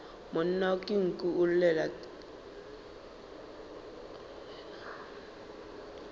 monna ke nku o llela